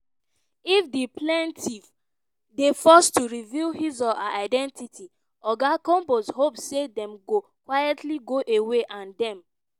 "if di plaintiff dey forced to reveal his or her identity oga combs hope say dem go quietly go away and dem